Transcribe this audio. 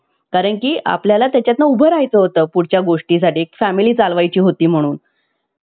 कारण की आपल्याला त्याच्यातनं उभं राहायचं होतं. पुढच्या गोष्टीसाठी family चालवायची होती म्हणून.